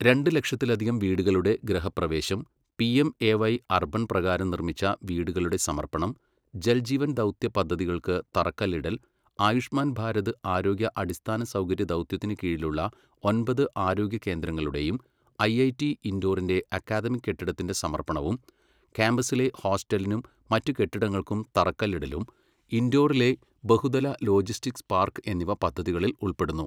രണ്ട് ലക്ഷത്തിലധികം വീടുകളുടെ ഗൃഹപ്രവേശം, പിഎംഎവൈ അർബൻ പ്രകാരം നിർമ്മിച്ച വീടുകളുടെ സമർപ്പണം , ജൽ ജീവൻ ദൗത്യ പദ്ധതികൾക്ക് തറക്കല്ലിടൽ, ആയുഷ്മാൻ ഭാരത് ആരോഗ്യ അടിസ്ഥാനസൗകര്യ ദൗത്യത്തിനു കീഴിലുള്ള ഒമ്പത് ആരോഗ്യ കേന്ദ്രങ്ങളുടെയും ഐഐടി ഇൻഡോറിന്റെ അക്കാദമിക് കെട്ടിടത്തിന്റെ സമർപ്പണവും ക്യാമ്പസിലെ ഹോസ്റ്റലിനും മറ്റ് കെട്ടിടങ്ങൾക്കും തറക്കല്ലിടലും, ഇൻഡോറിലെ ബഹുതല ലോജിസ്റ്റിക്സ് പാർക്ക് എന്നിവ പദ്ധതികളിൽ ഉൾപ്പെടുന്നു.